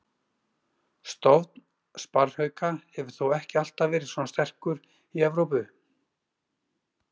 Stofn sparrhauka hefur þó ekki alltaf verið svona sterkur í Evrópu.